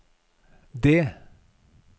D